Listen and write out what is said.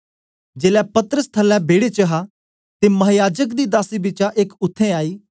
जेलै पतरस थल्लै बेड़े च हा ते महायाजक दी दासी बिचा एक उत्थें आई